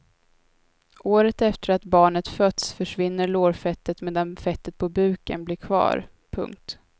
Året efter att barnet fötts försvinner lårfettet medan fettet på buken blir kvar. punkt